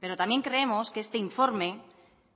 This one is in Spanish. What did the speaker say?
pero también creemos que este informe